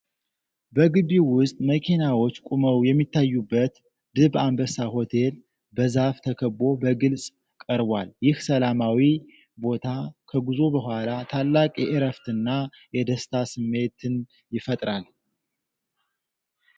በግቢው ውስጥ መኪናዎች ቆመው የሚታዩበት ድብ አንበሳ ሆቴል፣ በዛፍ ተከቦ በግልጽ ቀርቧል። ይህ ሰላማዊ ቦታ ከጉዞ በኋላ ታላቅ የእረፍትና የደስታ ስሜትን ይፈጥራል።